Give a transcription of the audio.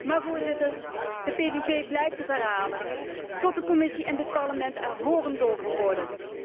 Maar, Voorzitter, de PVV blijft het herhalen tot de Commissie en dit Parlement er horendol van worden.